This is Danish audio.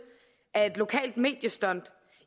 er et lokalt mediestunt